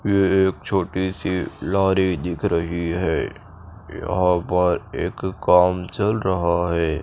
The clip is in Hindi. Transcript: ये एक छोटी सी लारी दिख रही है यहाँ पर एक काम चल रहा है।